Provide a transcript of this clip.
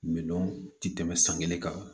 Mindɔn ti tɛmɛ san kelen kan